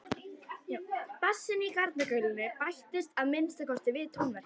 Bassinn í garnagaulinu bættist að minnsta kosti við tónverkið.